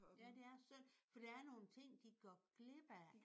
Ja det er synd. For der er nogle ting de går glip af